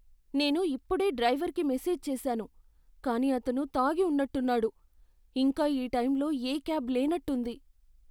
నేను ఇప్పుడే డ్రైవర్కి మెసేజ్ చేశాను, కానీ అతను తాగి ఉన్నట్టున్నాడు, ఇంకా ఈ టైంలో ఏ క్యాబ్ లేనట్టుంది.